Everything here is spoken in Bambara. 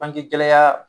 Bangegɛlɛya